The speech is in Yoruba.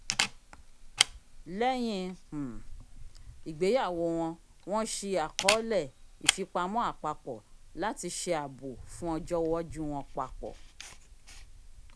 lẹyìn um ìgbéyàwó wọn wọn ṣii akọọlẹ ifipamọ apapọ lati ṣe aabo fún ọjọ iwaju wọn papọ